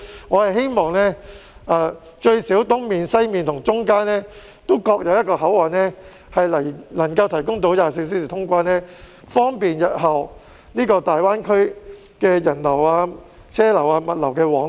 我希望最低限度在東面、西面及中間各有一個24小時通關的口岸，方便日後大灣區人流、車流及物流往來。